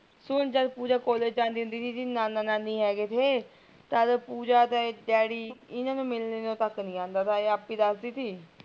ਹੁਣ ਜਦ ਪੂਜਾ ਕਾਲਜ ਜਾਂਦੀ ਹੁੰਦੀ ਥੀ ਇਹਦੇ ਨਾਨਾ ਨਾਨੀ ਹੇਗੇ ਥੈ ਤਦ ਪੂਜਾ ਦਾ ਡੈਡੀ ਇਹਨਾਂ ਨੂ ਮਿਲਣ ਤਕ ਨਹੀਂ ਆਉਂਦਾ ਥਾ ਇਹ ਆਪੀ ਦਸਦੀ ਥੀ